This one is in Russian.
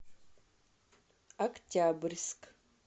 октябрьск